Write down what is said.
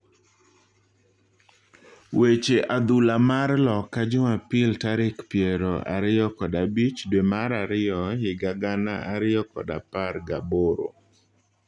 Weche adhula mar loka jumapil tarik piero ariyo kod abich dwee mar ariyo higa gana ariyo kod apar ga boro.